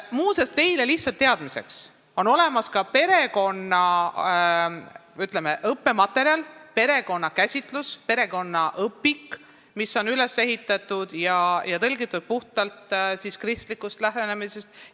Muuseas, lihtsalt teile teadmiseks, et meil on olemas niisugune õppematerjal, perekonna käsitlus, perekonnaõpik, mis on tõlgitud ja puhtalt kristliku lähenemise põhjal üles ehitatud.